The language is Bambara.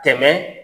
Tɛmɛ